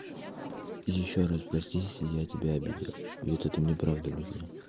ещё раз прости если я тебя обидел и ты мне правда нужна